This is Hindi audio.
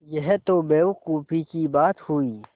यह तो बेवकूफ़ी की बात हुई